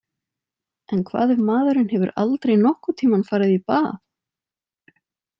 En hvað ef maðurinn hefur aldrei nokkurn tímann farið í bað?